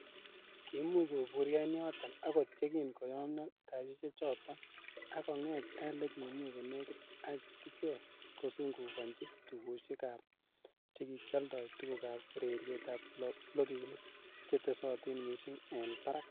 Kiimuch koburyo en yoton akot yekin koyomyo kasisiechoton, ak kong'et ele kimi konekit ak kichek kosungukonyi tugusiek che kikioldoi tugukab ureriet ak blokinik chetesotin missing en barak.